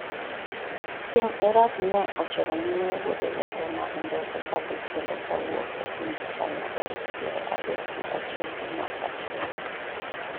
piny Iran ne ochoro nyime wuodhe ge te mag ndeke kadhi kendo kawuok e piny China tarik piero adek gi achiel dwe mar achiel